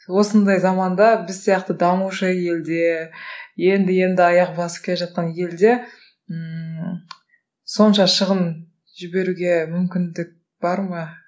осындай заманда біз сияқты дамушы елде енді енді аяқ басып келе жатқан елде ммм сонша шығын жіберуге мүмкіндік бар ма